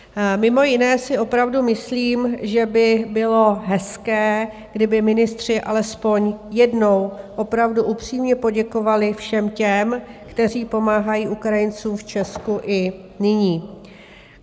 Mimo jiné si opravdu myslím, že by bylo hezké, kdyby ministři alespoň jednou opravdu upřímně poděkovali všem těm, kteří pomáhají Ukrajincům v Česku i nyní.